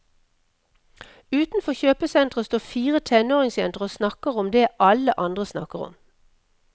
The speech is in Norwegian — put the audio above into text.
Utenfor kjøpesenteret står fire tenåringsjenter og snakker om det alle andre snakker om.